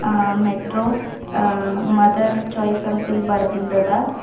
ಆ metro mother choice ಅಂತ ಇಲ್ಲಿ ಬರೆದಿಂದ.